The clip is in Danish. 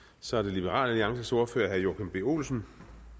så er det liberal alliances ordfører herre joachim b olsen